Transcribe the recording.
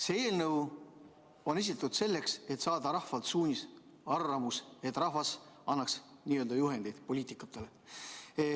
See eelnõu on esitatud selleks, et saada rahvalt suunis, arvamus, et rahvas annaks n‑ö juhendi poliitikutele.